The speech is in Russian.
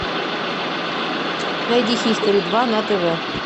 найди хистори два на тв